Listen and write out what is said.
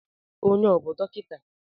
Onye a ọ bú dọkịta?